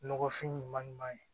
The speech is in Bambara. Nɔgɔfin ɲuman ɲuman ye